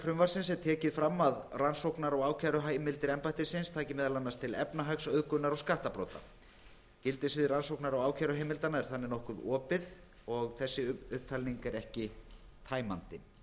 frumvarpsins er tekið fram að rannsóknar og ákæruheimildir embættisins taki meðal annars til efnahags auðgunar og skattabrota gildissvið rannsóknar og ákæruheimildanna er þannig nokkuð opið og þessi upptalning er ekki tæmandi